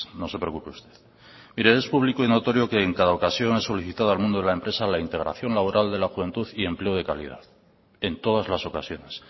no se preocupe usted mire es público y notorio que en cada ocasión ha solicitado al mundo de la empresa la integración laboral de la juventud y empleo de calidad en todas las ocasiones